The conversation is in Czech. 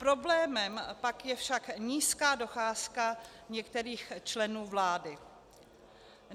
Problémem pak je však nízká docházka některých členů vlády.